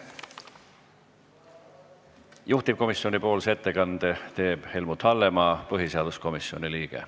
Juhtivkomisjoni nimel teeb ettekande Helmut Hallemaa, põhiseaduskomisjoni liige.